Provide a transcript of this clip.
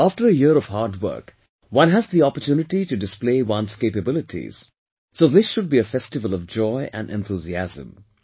After a year of hard work, one has the opportunity to display one's capabilities, so this should be a festival of joy and enthusiasm